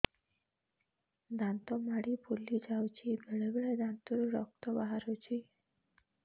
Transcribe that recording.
ଦାନ୍ତ ମାଢ଼ି ଫୁଲି ଯାଉଛି ବେଳେବେଳେ ଦାନ୍ତରୁ ରକ୍ତ ବାହାରୁଛି